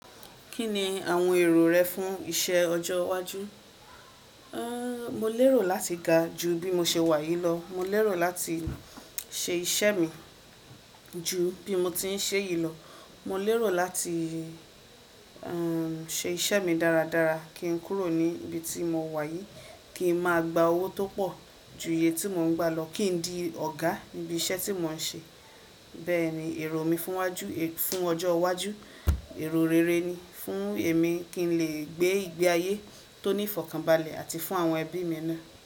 Kí ni àwọn èrò rẹ fún iṣẹ́ ọjọ́ iwájú? Mo lérò láti ga ju bí mo ṣe wà yìí lọ. Mo lérò láti ṣe iṣẹ́ mi ju bí mo ti ń ṣe yìí lọ. Mo lérò láti ṣe iṣẹ́ mi dáradára kí n kúrò níbi tí mo wà yìí, kí n máa gba owó tó pọ̀ ju iye tí mo ń gba lọ, kí n di ọ̀gá níbi iṣẹ́ tí mò ń ṣe. Bẹ́ẹ̀ ni èrò mi fún ọjọ́ iwájú, èrò rere ni fún èmi kí n lè gbé ìgbé ayé tó ní ìfọ̀kànbalẹ̀ àti fún àwọn ẹbí mi náà.